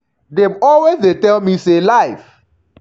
dem always dey tell me say life